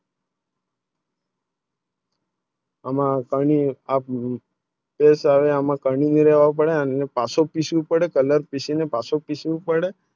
આમાં પાણી આપણુ તે સારે હમે કાવેરીને આવે પડે આ પાછો પીશું પડે Colour ન પાશો પીશું પડે